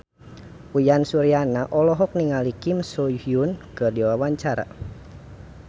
Uyan Suryana olohok ningali Kim So Hyun keur diwawancara